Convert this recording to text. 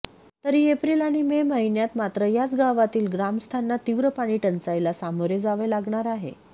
तरी एप्रिल आणि मे महिन्यांत मात्र याच गावांतील ग्रामस्थांना तीव्र पाणीटंचाईला सामोरे जावे लागणार आहे